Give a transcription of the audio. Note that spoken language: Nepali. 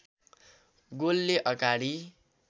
गोलले अगाडि